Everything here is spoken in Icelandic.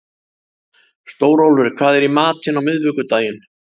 Stórólfur, hvað er í matinn á miðvikudaginn?